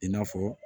I n'a fɔ